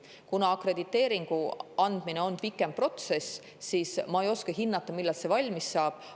Kuna akrediteeringu andmine on pikk protsess, siis ma ei oska hinnata, millal see valmis saab.